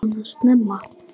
Svona snemma?